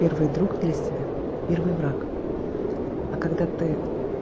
первый друг для себя и первый враг а когда ты